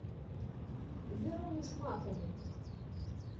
веруне шмаковой